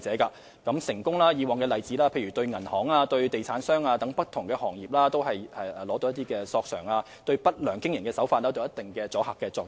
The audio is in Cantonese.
以往的成功例子包括向銀行和地產等不同行業取得賠償，對不良經營手法有一定的阻嚇作用。